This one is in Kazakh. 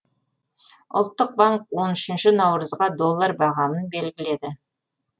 ұлттық банк он үшінші наурызға доллар бағамын белгіледі